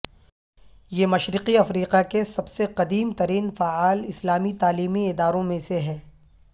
یہ مشرقی افریقہ کے سب سے قدیم ترین فعال اسلامی تعلیمی اداروں میں سے ہے